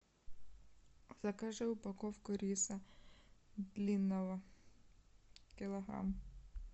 закажи упаковку риса длинного килограмм